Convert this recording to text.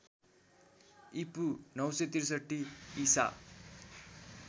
ईपू ९६३ ईसा